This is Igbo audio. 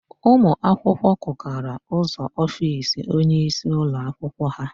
Ụmụakwụkwọ kụkara ụzọ ofiisi onyeisi ụlọakwụkwọ ha.